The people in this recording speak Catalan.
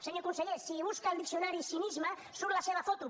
senyor conseller si busca al diccionari cinisme surt la seva foto